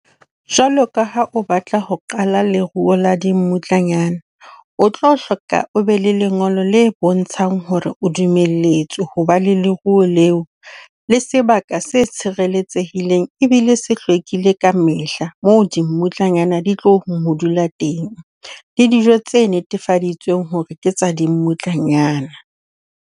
Jwalo ka ha o batla ho qala leruo la dimmutlanyana, o tlo hloka o be le lengolo le bontshang hore o dumelletswe ho ba le leruo leo le sebaka se tshireletsehileng ebile se hlwekile ka mehla moo di mmutlanyana di tlo ho dula teng, le dijo tse netefaditsweng hore ke tsa dimmutlanyana.